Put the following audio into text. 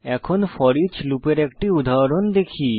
এখন ফোরিচ লুপের একটি উদাহরণ দেখি